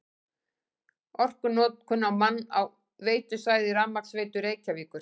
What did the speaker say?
Orkunotkun á mann á veitusvæði Rafmagnsveitu Reykjavíkur